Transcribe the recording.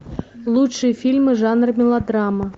лучшие фильмы жанра мелодрама